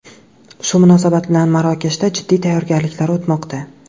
Shu munosabat bilan Marokashda jiddiy tayyorgarliklar o‘tmoqda.